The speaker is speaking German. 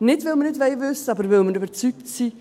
Nicht, weil wir es nicht wissen wollen, weil wir aber überzeugt sind,